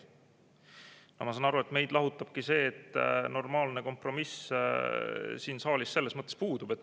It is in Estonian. Ma saan aru, et meid lahutabki see, et normaalne kompromiss siin saalis puudub.